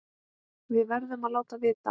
Við verðum að láta vita.